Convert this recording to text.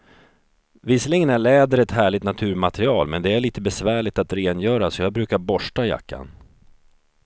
Visserligen är läder ett härligt naturmaterial, men det är lite besvärligt att rengöra, så jag brukar borsta jackan.